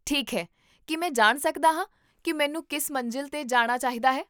ਠੀਕ ਹੈ, ਕੀ ਮੈਂ ਜਾਣ ਸਕਦਾ ਹਾਂ ਕੀ ਮੈਨੂੰ ਕਿਸ ਮੰਜ਼ਿਲ 'ਤੇ ਜਾਣਾ ਚਾਹੀਦਾ ਹੈ?